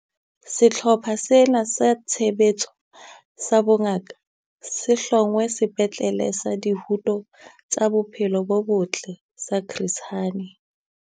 Sehlopha sena sa Tshebetso sa Bongaka se hlongwe Sepetlele sa Dihuto tsa Bophelo bo Botle sa Chris Hani.